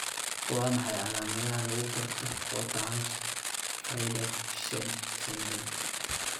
Waa maxay calaamadaha lagu garto Waterhouse Friderichsen syndrome?